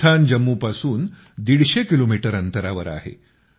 हे स्थान जम्मूपासून 150 किलोमीटर अंतरावर आहे